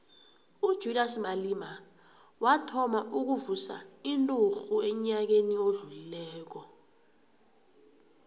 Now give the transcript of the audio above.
ujulias malema wathoma ukuvusa inturhu enyakeni odlulileko